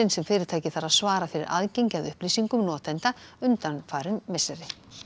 sem fyrirtækið þarf að svara fyrir aðgengi að upplýsingum notenda undanfarin misseri